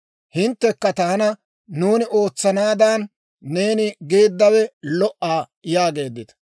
«Hinttekka taana, ‹Nuuni ootsanaadan neeni geeddawe lo"a› yaageeddita.